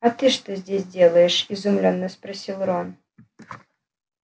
а ты что здесь делаешь изумлённо спросил рон